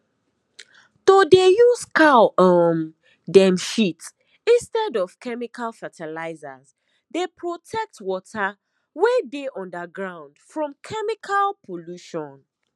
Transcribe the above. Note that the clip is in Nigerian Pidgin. to dey use cow um dem shit instead of chemical fertilizers dey protect water wey dey underground from chemical pollution